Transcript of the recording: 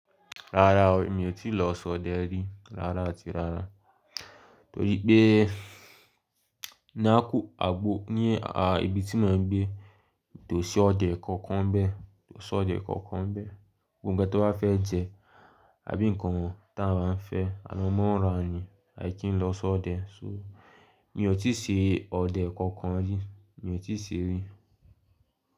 Rárá o, mi ò tí lọ sọ́dẹ́ rí rára ati rárá. Torí pé ni àkú àgbo ní, à, ibi tí mò ń gbé, kó ṣọdẹ kankan nbẹ́ẹ̀, kó ṣọdẹ kankan nbẹ́ẹ̀. Gbogbo nkan tí wọ́n ba fẹ́ jẹ, àbí nǹkan wọ̀n ta máa ń fẹ́, à mọ́ nra ni a ki ń lọ sọ́ ọdẹ. So mi ò tíì ṣe ọdẹ kankan rí, mi ò tíì ṣe rí.